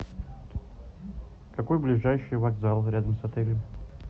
какой ближайший вокзал рядом с отелем